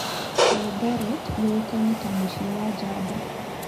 Eldoret yũĩkaine ta "Mũciĩ wa njamba."